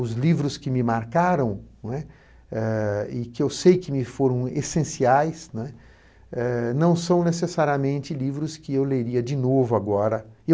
Os livros que me marcaram, né, eh e que eu sei que me foram essenciais né, eh, não são necessariamente livros que eu leria de novo agora.